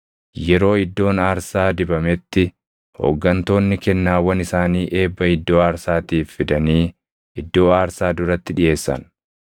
Yeroo iddoon aarsaa dibametti hooggantoonni kennaawwan isaanii eebba iddoo aarsaatiif fidanii iddoo aarsaa duratti dhiʼeessan.